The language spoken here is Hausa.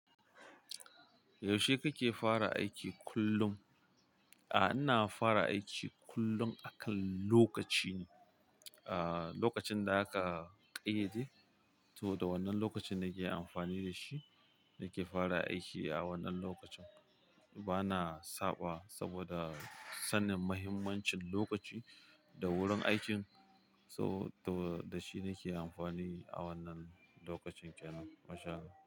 Yaushe kake fara aiki kullum? Aa, ina fara aiki kullum akan lokaci ne. Aa, lokacin da aka ƙayyade, to da wannan lokacin nake amfani da shi, nake fara aiki a wannan lokacin. Bana saɓa saboda sanin mahimmancin lokaci da wurin aikin, so to da shi nake amfani a wannan lokacin kenan masha Allah.